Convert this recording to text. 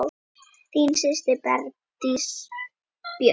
Þín systir, Bergdís Björt.